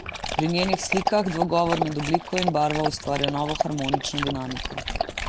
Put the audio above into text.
Pri njenih slikah dvogovor med obliko in barvo ustvarja novo harmonično dinamiko.